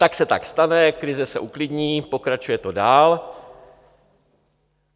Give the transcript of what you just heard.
Tak se to stane, krize se uklidní, pokračuje to dál.